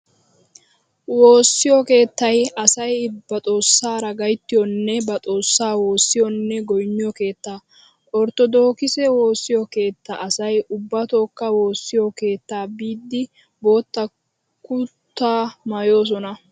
Woossiyo keettay asay ba xoossaara gayttiyonne ba xoossaa woossiyonne goynniyo keetta. Orttodookkise woossiyo keettaa asay ubbatookka woossiyo keettaa biiddi bootta kutaa maayoosona.